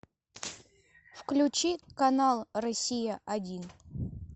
включи канал россия один